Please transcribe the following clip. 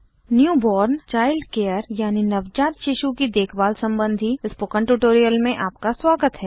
newborn child care यानि नवजात शिशु की देखभाल सम्बन्धी स्पोकन ट्यूटोरियल में आपका स्वागत है